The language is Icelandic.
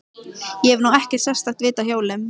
Ég hef nú ekkert sérstakt vit á hjólum.